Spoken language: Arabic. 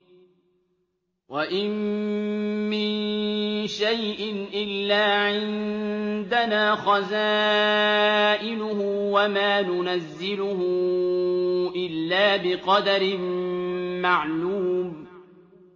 وَإِن مِّن شَيْءٍ إِلَّا عِندَنَا خَزَائِنُهُ وَمَا نُنَزِّلُهُ إِلَّا بِقَدَرٍ مَّعْلُومٍ